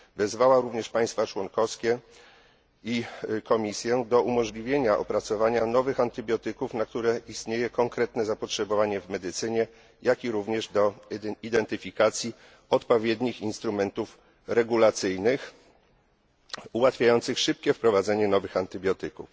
Wezwała również państwa członkowskie i Komisję do umożliwienia opracowania nowych antybiotyków, na które istnieje konkretne zapotrzebowanie w medycynie, jak i również do identyfikacji odpowiednich instrumentów regulacyjnych, ułatwiających szybkie wprowadzenie nowych antybiotyków.